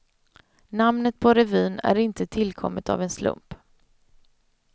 Namnet på revyn är inte tillkommet av en slump.